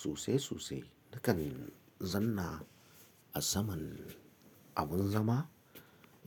Sosai sosai nakan zanna a saman abun zama